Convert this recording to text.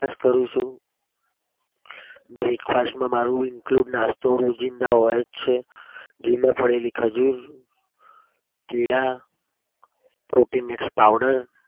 brush કરું છું. breakfast માં મારો include નાસ્તો રોજીંદા હોય જ છે દૂધમાં પડેલી ખજુર, કેળા. protein x powder કરું છું.